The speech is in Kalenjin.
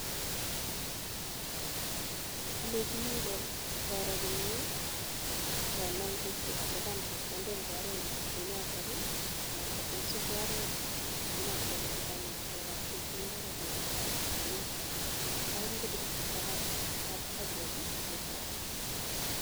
Alenjini kora komnyee kotko kalipan chepkondok komnyee alenjini asikoroo komnyee